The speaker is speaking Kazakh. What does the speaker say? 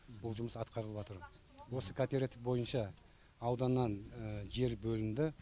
бұл жұмыс атқарылыватыр осы кооператив бойынша ауданнан жер бөлінді